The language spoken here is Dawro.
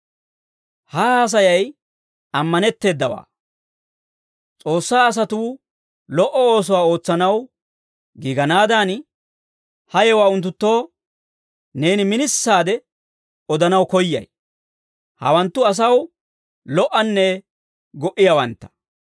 Ha haasayay ammanetteedawaa; S'oossaa asatuu lo"o oosuwaa ootsanaw giiganaadan, ha yewuwaa unttunttoo neeni minisaade odanaw koyyay; hawanttu asaw lo"anne go"iyaawantta.